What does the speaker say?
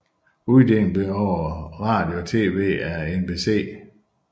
Uddelingen blev over radio og tv af NBC